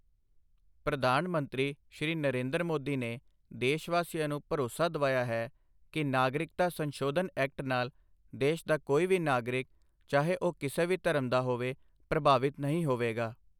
ਪ੍ਰਧਾਨ ਮੰਤਰੀ, ਸ਼੍ਰੀ ਨਰੇਂਦਰ ਮੋਦੀ ਨੇ ਦੇਸ਼ਵਾਸੀਆਂ ਨੂੰ ਭਰੋਸਾ ਦਿਵਾਇਆ ਹੈ ਕਿ ਨਾਗਰਿਕਤਾ ਸੰਸ਼ੋਧਨ ਐਕਟ ਨਾਲ ਦੇਸ਼ ਦਾ ਕੋਈ ਵੀ ਨਾਗਰਿਕ ਚਾਹੇ ਉਹ ਕਿਸੇ ਵੀ ਧਰਮ ਦਾ ਹੋਵੇ ਪ੍ਰਭਾਵਿਤ ਨਹੀਂ ਹੋਵੇਗਾ।